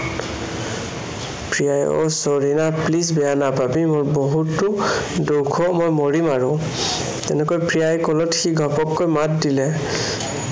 প্ৰিয়াই আহ sorry না, please বেয়া নাপাবি। মোৰ বহুতো দুখ অ, মই মৰিম আৰু। তেনেকৈ প্ৰিয়াই কলত সি ঘপহকৈ মাত দিলে